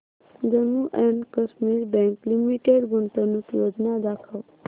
Jammu and Kashmir bank limited गुंतवणूक योजना दाखव